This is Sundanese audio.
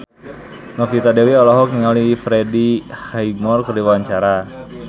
Novita Dewi olohok ningali Freddie Highmore keur diwawancara